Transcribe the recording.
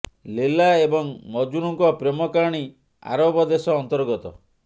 ଲୈଲା ଏବଂ ମଜନୁଙ୍କ ପ୍ରେମ କାହାଣୀ ଆରବ ଦେଶ ଅନ୍ତର୍ଗତ